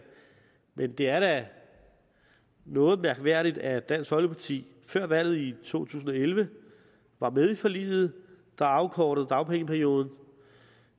men det er da noget mærkværdigt at dansk folkeparti før valget i to tusind og elleve var med i forliget der afkortede dagpengeperioden